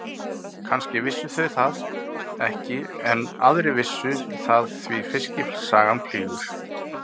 Kannski vissu þau það ekki enn en aðrir vissu það því fiskisagan flýgur.